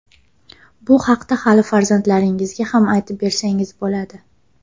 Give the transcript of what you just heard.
Bu haqda hali farzandlaringizga ham aytib bersangiz bo‘ladi.